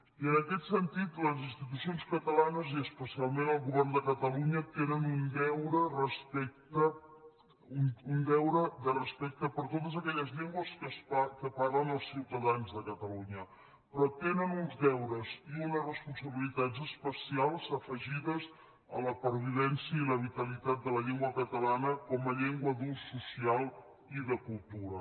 i en aquest sentit les institucions catalanes i especialment el govern de catalunya tenen un deure de respecte per totes aquelles llengües que parlen els ciutadans de catalunya però tenen uns deures i unes responsabilitats especials afegides a la pervivència i la vitalitat de la llengua catalana com a llengua d’ús social i de cultura